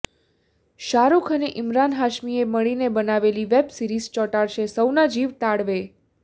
શાહરૂખ અને ઈમરાન હાશમીએ મળીને બનાવેલી વેબ સીરિઝ ચોંટાડશે સૌના જીવ તાળવે